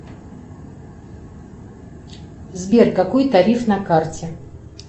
сбер какой тариф на карте